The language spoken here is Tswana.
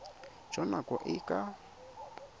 jwa nako e e ka